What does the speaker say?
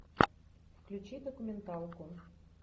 включи документалку